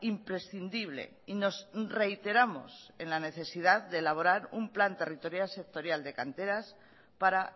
imprescindible y nos reiteramos en la necesidad de elaborar un plan territorial sectorial de canteras para